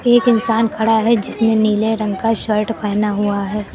एक इंसान खड़ा है जिसने नीले रंग का शर्ट पहना हुआ है।